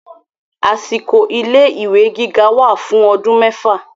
Àsìkò ilé ìwé gíga wà fún ọdún mẹ́fà.